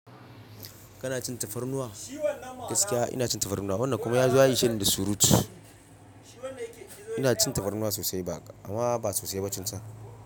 Kana cin tafarnuwa? Gaskiya ina cin tafarnuwa. Wannan kuma ya zo a yi ishe ni da surutu. Ina cin tafarnuwa sosai ba, amma ba sosai ba tunsa.